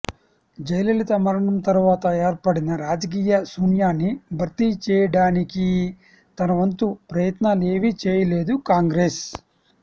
జయలలిత మరణం తరవాత ఏర్పడిన రాజకీయ శూన్యాన్ని భర్తీ చేయడానికీ తనవంతు ప్రయత్నాలేవీ చేయలేదు కాంగ్రెస్